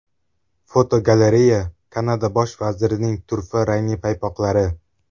Fotogalereya: Kanada bosh vazirining turfa rangli paypoqlari.